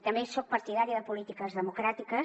també soc partidària de polítiques democràtiques